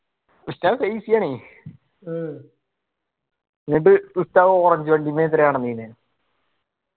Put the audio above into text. ഉസ്താദ് ആണ്. എന്നിട്ട് ഉസ്താദ് orange വണ്ടി നടന്നിന്